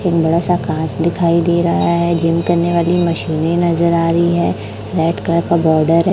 एक बड़ा सा कांच दिखाई दे रहा है जिम करने वाली मशीनें नजर आ रही हैं रेड कलर बॉर्डर है।